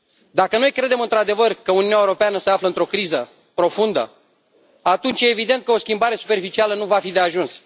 Dacă noi credem într adevăr că Uniunea Europeană se află într o criză profundă, atunci e evident că o schimbare superficială nu va fi de ajuns.